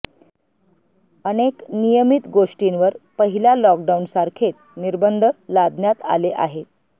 अनेक नियमित गोष्टींवर पहिल्या लॉकडाउन सारखेच निर्बंध लादण्यात आले आहे